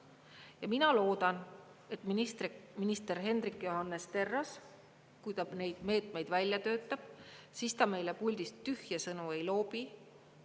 Ja mina loodan, et minister Hendrik Johannes Terras, kui ta neid meetmeid välja töötab, meile puldist tühje sõnu ei loobi.